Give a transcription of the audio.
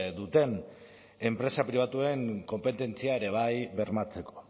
duten enpresa pribatuen konpetentzia ere bai bermatzeko